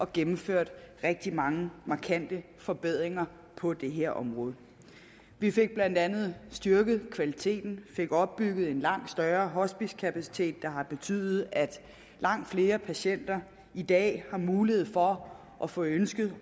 gennemført rigtig mange markante forbedringer på det her område vi fik blandt andet styrket kvaliteten og vi fik opbygget en langt større hospicekapacitet der har betydet at langt flere patienter i dag har mulighed for at få ønsket